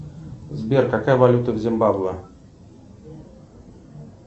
сбер какая валюта в зимбабве